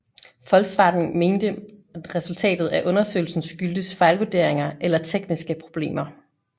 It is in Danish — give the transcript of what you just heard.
Volkswagen mente resultatet af undersøgelsen skyldtes fejlvurderinger eller tekniske problemer